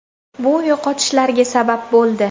Bu yo‘qotishlarga sabab bo‘ldi.